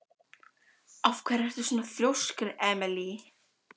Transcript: Af hverju ertu svona þrjóskur, Emely?